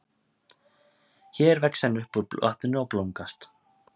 Hér vex hann upp úr vatninu og blómgast.